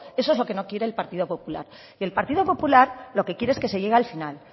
eso es lo que no quiere el partido popular y el partido popular lo que quiere es que se llegue al final